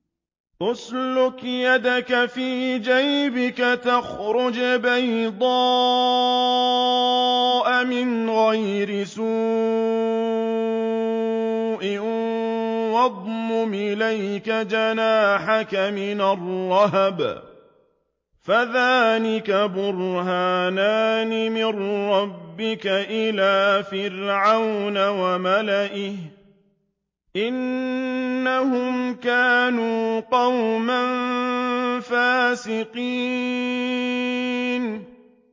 اسْلُكْ يَدَكَ فِي جَيْبِكَ تَخْرُجْ بَيْضَاءَ مِنْ غَيْرِ سُوءٍ وَاضْمُمْ إِلَيْكَ جَنَاحَكَ مِنَ الرَّهْبِ ۖ فَذَانِكَ بُرْهَانَانِ مِن رَّبِّكَ إِلَىٰ فِرْعَوْنَ وَمَلَئِهِ ۚ إِنَّهُمْ كَانُوا قَوْمًا فَاسِقِينَ